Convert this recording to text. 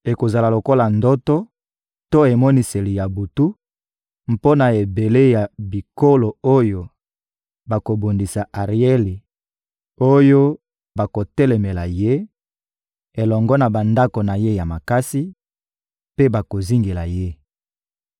Ekozala lokola ndoto to emoniseli ya butu mpo na ebele ya bikolo oyo bakobundisa Arieli, oyo bakotelemela ye elongo na bandako na ye ya makasi mpe bakozingela ye.